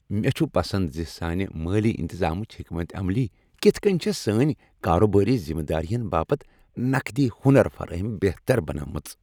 مےٚ چُھ پسند زِ سانہِ مٲلی انتظامٕچ حکمت عملی كِتھ كٕنۍ چھےٚ سٲنۍ کاروبٲری ذِمہ دارین باپت نقدی ہنر فرٲہمی بہتر بنٲومژ۔